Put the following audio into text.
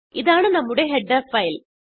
ഇതാണ് നമ്മുടെ header file